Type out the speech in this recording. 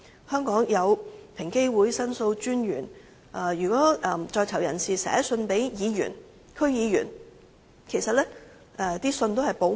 香港有平等機會委員會、申訴專員公署，而如果在囚人士寫信給議員和區議員，信件內容也是會保密的。